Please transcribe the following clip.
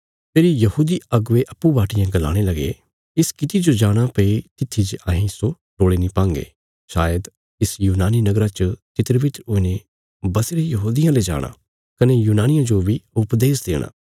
फेरी यहूदी अगुवे अप्पूँ बाटियें गलाणे लगे इस किति जो जाणा भई तित्थी जे अहें इस्सो टोल़ी नीं पांगे शायद इस यूनानी नगरा च तितरबितर हुईने बसीरे यहूदियां ले जाणा कने यूनानियां जो बी उपदेश देणा